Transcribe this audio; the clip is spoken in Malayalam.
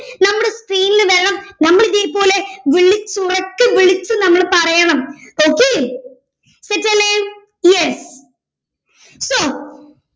നമ്മുടെ screen ൽ വരണം നമ്മൾ ഇതേപോലെ വിളിച്ചു ഉറക്കെ വിളിച്ച് നമ്മൾ പറയണം ok set ല്ലെ yes so